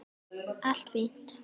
Allt fínt.